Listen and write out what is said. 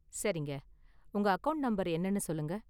சரிங்க, உங்க account number என்னனு சொல்லுங்க?